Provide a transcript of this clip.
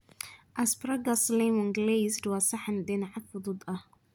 Asparagus Lemon-glazed waa saxan dhinaca fudud ah.